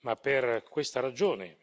Ma per questa ragione,